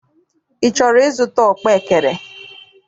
Ị chọrọ ịzụta ọkpaekere?